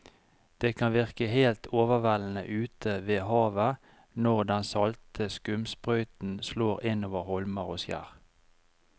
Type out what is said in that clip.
Det kan virke helt overveldende ute ved havet når den salte skumsprøyten slår innover holmer og skjær.